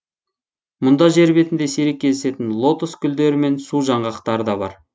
мұнда жер бетінде сирек кездесетін лотос гулдері мен су жаңғақтары да бар